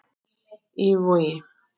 Í Vogi.